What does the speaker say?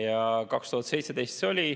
See oli 2017.